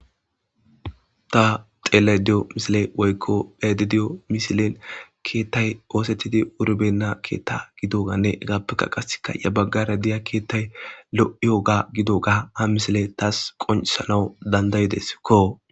ta xelayda diyo misiley woykko beyayida diyo misiley keettay osetidi wur benna keetta gidoganne hegappeka qaseka ya baggara diya keettay lo7iyoga gidoga ha misiley taas qonceshanawu dandayideskO.